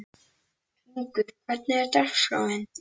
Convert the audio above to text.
Hringur, hvernig er dagskráin?